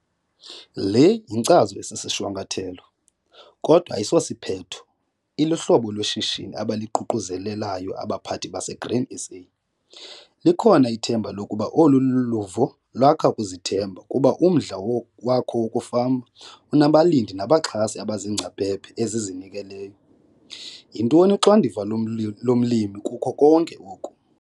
Le yinkcazo esisishwankathelo, kodwa ayisosiphetho, iluhlobo lweshishini abaliququzelelayo abaphathi baseGrain SA. Likhona ithemba lokuba olu luvo lwakha ukuzithemba kuba umdla wakho wokufama unabalindi nabaxhasi abaziingcaphephe ezizinikeleyo. Yintoni uxanduva lomlimi kuko konke oku?